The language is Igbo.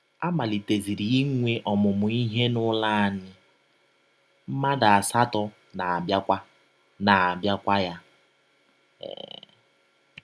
A maliteziri inwe ọmụmụ ihe n’ụlọ anyị, mmadụ asatọ na - abịakwa na - abịakwa ya. um